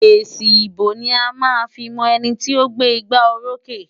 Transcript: Èsì ìbò ni a máa fi mọ ẹni tí ó gbé igbárókè.